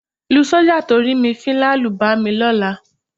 Lu sọ́jà tó rí mi fín lálùbami lọ́la.